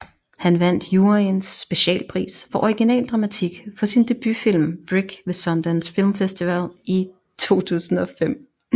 Han vandt juryens specialpris for original dramatik for sin debutfilm Brick ved Sundance Film Festival i 2005